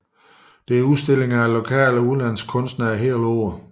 Der er hele året udstillinger af lokale og udenlandske kunstnere